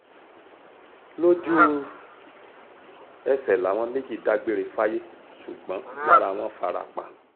lójú-ẹsẹ̀ làwọn méjì dágbére fáyé ṣùgbọ́n lára wọn fara pa